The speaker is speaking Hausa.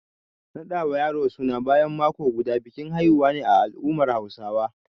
Naɗa wa yaro suna bayan mako guda, bikin haihuwa ne a al’ummar Hausawa.